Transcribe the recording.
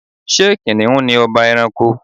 Ṣé Kìnìún ni ọba ẹranko?